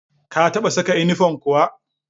Ka taɓa saka inifom kuwa?